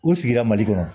U sigira mali kɔnɔ